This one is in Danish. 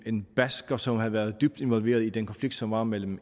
en basker som havde været dybt involveret i den konflikt som var mellem